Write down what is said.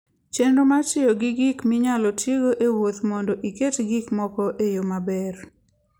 Chenro mar tiyo gi gik minyalo tigo e wuoth mondo iket gik moko e yo maber.